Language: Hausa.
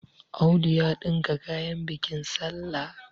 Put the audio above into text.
Audu ya ɗinka kayan bikin sallah